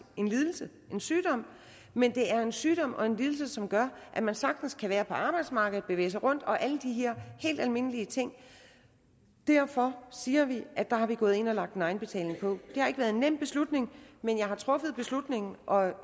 en lidelse en sygdom men det er en sygdom og en lidelse som gør at man sagtens kan være på arbejdsmarkedet bevæge sig rundt og alle de her helt almindelige ting derfor siger vi at der er vi gået ind og har lagt en egenbetaling på det har ikke været en nem beslutning men jeg har truffet beslutningen og